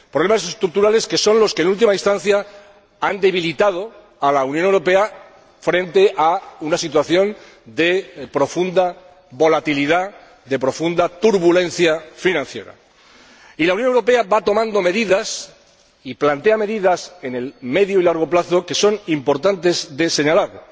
problemas estructurales que son, en última instancia, los que han debilitado a la Unión Europea frente a una situación de profunda volatilidad, de profunda turbulencia financiera. Y la Unión Europea va tomando y planteando medidas en el medio y largo plazo que son importantes de señalar.